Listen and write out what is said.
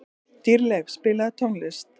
Dýrleif, spilaðu tónlist.